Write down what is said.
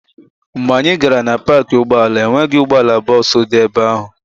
Mgbe anyị gara na paakị ụgbọala, e nweghị ụgbọala bọọsụ dị ebe ahụ.